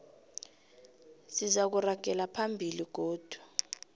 sizakuragela phambili godu